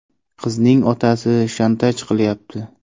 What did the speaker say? Qizning otasi ‘shantaj’ qilyapti.